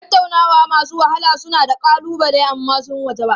Tattaunawa masu wahala suna da ƙalubale amma sun wajaba.